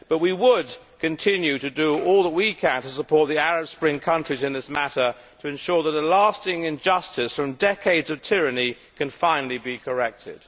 But we would continue to do all that we can to support the Arab Spring countries in this matter to ensure that a lasting injustice from decades of tyranny can finally be corrected.